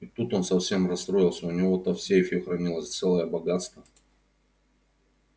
и тут он совсем расстроился у него-то в сейфе хранилось целое богатство